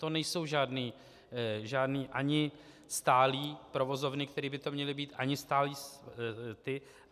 To nejsou žádné ani stálé provozovny, které by to měly být, ani stálé ty...